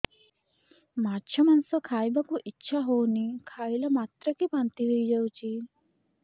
ମାଛ ମାଂସ ଖାଇ ବାକୁ ଇଚ୍ଛା ହଉଛି ଖାଇଲା ମାତ୍ରକେ ବାନ୍ତି ହେଇଯାଉଛି